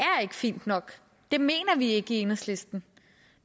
fint nok det mener vi ikke i enhedslisten